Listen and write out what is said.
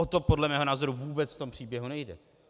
O to podle mého názoru vůbec v tom příběhu nejde.